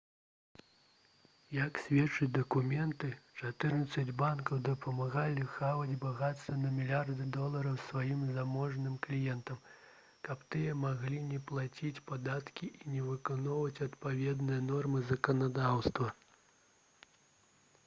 як сведчаць дакументы чатырнаццаць банкаў дапамагалі хаваць багацце на мільярды долараў сваім заможным кліентам каб тыя маглі не плаціць падаткі і не выконваць адпаведныя нормы заканадаўства